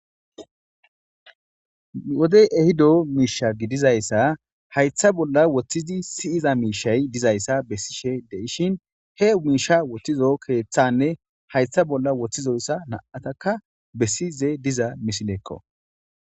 Wodey ehido misha be haytha bolla woothi siyiza mishay dizaysa beyishin he misha wothido keethani haytha bolla wotjizo mishata nam'ataka besishe de'es